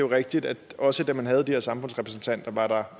rigtigt at også da man havde de her samfundsrepræsentanter var